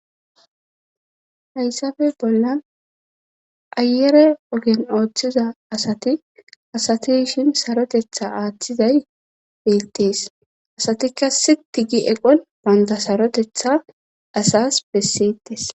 hayssafe bollan ayere ogen ooththiza asati,asati yishin sarotetha aaththizay bettees asatikka siti gi eqon banta sarotetha asas besseettes